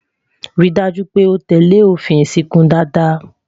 rí dájú pé o tẹlẹ òfin ìsìnkú dada